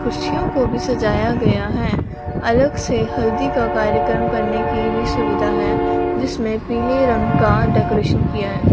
कुर्सियों को भी सजाया गयां हैं अलग से हल्दी का कार्यक्रम करने की भी सुविधा हैं जिसमें पीले रंग का डेकोरेशन किया है।